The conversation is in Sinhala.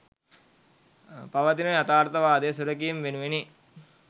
පවතින යථාර්ථවාදය සුරැකීම වෙනුවෙනි.